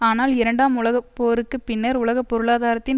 ஆனால் இரண்டாம் உலக போருக்கு பின்னர் உலக பொருளாதாரத்தின்